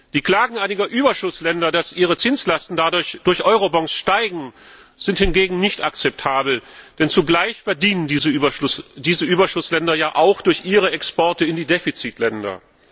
Die Klagen einiger Überschussländer, dass ihre Zinslasten durch Eurobonds steigen, sind hingegen nicht akzeptabel, denn zugleich verdienen diese Überschussländer ja auch durch ihre Exporte in die Defizitländer.